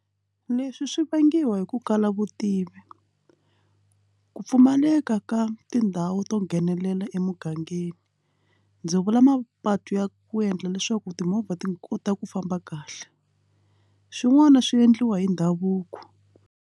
Leswi swi vangiwa hi ku kala vutivi ku pfumaleka ka tindhawu to nghenelela emugangeni ndzi vula mapatu ya ku endla leswaku timovha ti kota ku famba kahle swin'wana swi endliwa hi ndhavuko.